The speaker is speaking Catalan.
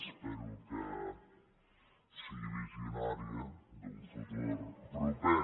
espero que sigui visionària d’un futur proper